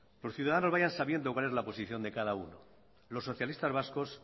ciudadanos vayan sabiendo cuál es la posición de cada uno los socialistas vascos